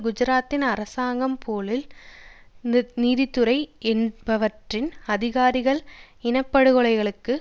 குஜராத்தின் அரசாங்கம் போலிஸ் நீதித்துறை என்பவற்றின் அதிகாரிகள் இனப்படுகொலைகளுக்கு